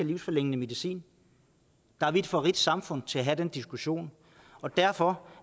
livsforlængende medicin vi er for rigt et samfund til at have den diskussion derfor